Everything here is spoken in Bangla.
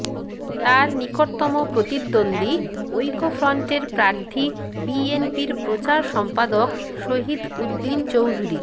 তার নিকটতম প্রতিদ্বন্দ্বী ঐক্যফ্রন্টের প্রার্থী বিএনপির প্রচার সম্পাদক শহীদ উদ্দিন চৌধুরী